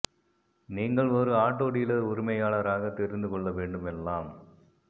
நீங்கள் ஒரு auto dealer உரிமையாளர் ஆக தெரிந்து கொள்ள வேண்டும் எல்லாம்